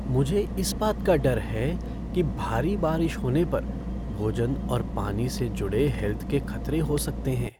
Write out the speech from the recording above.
मुझे इस बात का डर है कि भारी बारिश होने पर भोजन और पानी से जुड़े हैल्थ के खतरे हो सकते हैं।